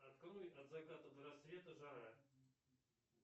открой от заката до рассвета жара